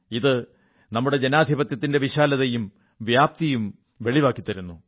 ഇത് നമ്മുടെ ജനാധിപത്യത്തിന്റെ വിശാലതയും വൈപുല്യവും വെളിവാക്കിത്തരുന്നു